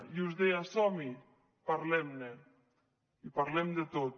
i us deia som hi parlem ne i parlem de tot